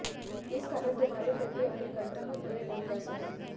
इस कारण तुम्हारे प्रति अपने कर्त्तव्य पूरे नहीं कर सका